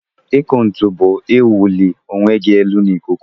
Ikụ ntu bu iwụli onwegi elu na ikuku.